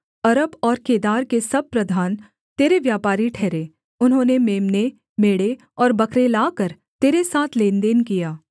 अरब और केदार के सब प्रधान तेरे व्यापारी ठहरे उन्होंने मेम्ने मेढ़े और बकरे लाकर तेरे साथ लेनदेन किया